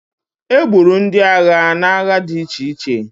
E gburu ndị agha n'agha di iche iche.